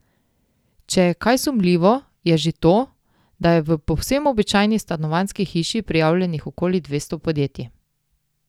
Če je kaj sumljivo, je že to, da je v povsem običajni stanovanjski hiši prijavljenih okoli dvesto podjetij.